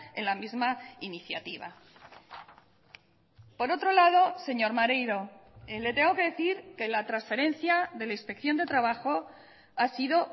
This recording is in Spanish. en la misma iniciativa por otro lado señor maneiro le tengo que decir que la transferencia de la inspección de trabajo ha sido